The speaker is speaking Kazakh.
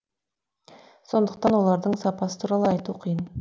сондықтан олардың сапасы туралы айту қиын